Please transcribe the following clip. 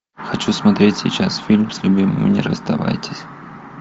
хочу смотреть сейчас фильм с любимыми не расставайтесь